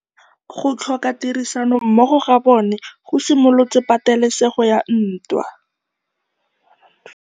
Go tlhoka tirsanommogo ga bone go simolotse patêlêsêgô ya ntwa.